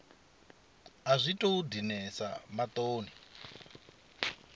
a zwi tou dinesa maṱoni